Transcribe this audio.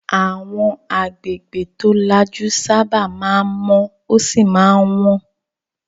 Àwọn agbègbè tó lajú sábà máa ń mọ́ ó sì máa ń wọ́n.